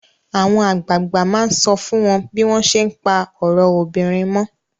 Àwọn àgbààgbà máa sọ fún wọ́n bí wọ́n ṣé ń pa ọ̀rọ̀ obìnrin mọ́.